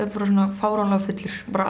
fáránlega fullur bara